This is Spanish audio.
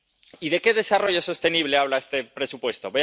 Y, ¿de qué desarrollo sostenible habla este presupuesto?